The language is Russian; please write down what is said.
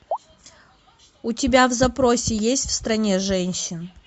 у тебя в запросе есть в стране женщин